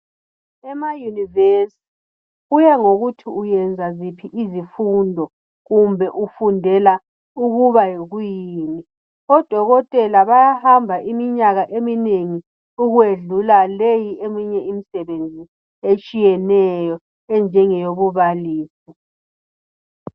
Emayunivesi kuya ngokuthi uyenza ziphi izifundo kumbe ufundela ukuba yikuyini odokotela bayahamba iminyaka eminengi okwedlula leyi eyinye imisebenzi etshiyeneyo enjenge yobubalisi.